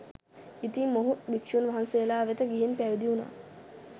ඉතින් මොහු භික්ෂූන් වහන්සේලා වෙත ගිහින් පැවිදි වුනා.